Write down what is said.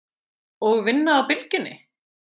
Og vinna á Bylgjunni?